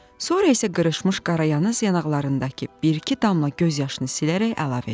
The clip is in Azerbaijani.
Sonra isə qırışmış qarayanız yanaqlarındakı bir-iki damla göz yaşını silərək əlavə etdi: